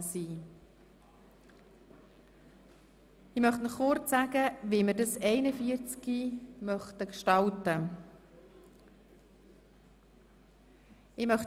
Ich möchte Ihnen kurz darlegen, wie wir die Behandlung von Traktandum 41 gestalten möchten.